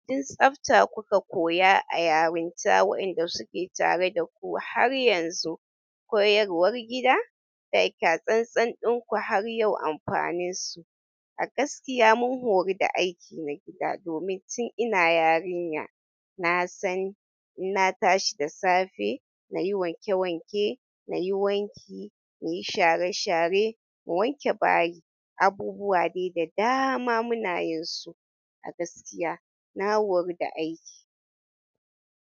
In tsafta kuka koya a yarinta waɗanda suke tare daku har yanzu koyarwar gida takyatsantsan ɗinku har yau amfanin su. A gaskiya mun horu da aiki na gida domin tun ina yarinya nasan inna tashi da safe, nayi wanke wanke, nayi wanki, nayi share share, in wanke bayi, abubuwa de da dama muna yinsu. A gaskiya na horu da aiki.